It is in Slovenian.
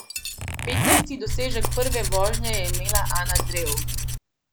Petnajsti dosežek prve vožnje je imela Ana Drev.